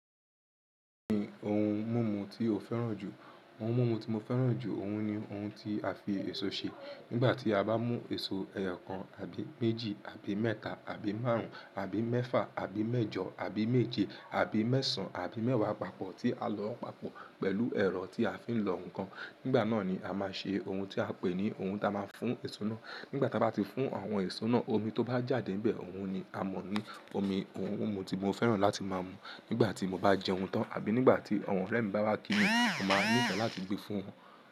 Omi ohun mímu ti o féràn jù. Ohun mímu ti mo féràn jù, òun ni ohun ti a fi èso ṣe. Nígbà tí a bá mú èso ẹyọ kan àbí méjì àbí mẹ́ta àbí márùn-ún àbí mẹ́fà àbí mẹ́jọ àbí méje àbí mẹ́sàn-án àbí mẹ́wàá papọ̀ tí a lọ papọ̀ pẹ̀lú ẹ̀rọ tí a fi ń lọ ǹkan, nígbà náà ni a máa ṣe ohun tí a pè ní ohun ta máa ń fún èso náà. Nígbà táa bá ti fún àwọn èso náà, omi tó bá jáde níbẹ̀, òun ni a mọ̀ ní omi ohun mímu tí mo féràn láti máa mu nígbà tí mo bá jẹun tán àbí nígbà tí àwọn ọ̀rẹ́ mi bá wá kí mi, mo máa ní ìtọ́ láti gbé fún wọn.